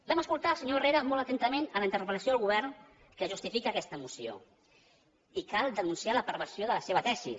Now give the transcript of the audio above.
vam escoltar el senyor herrera molt atentament en la interpel·lació al govern que justifica aquesta moció i cal denunciar la perversió de la seva tesi